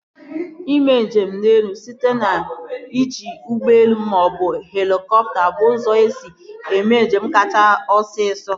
Ime njem n'elu site n'iji ụgbọelu maọbụ helikọpta bụ ụzọ esi eme njem kachasị osisọ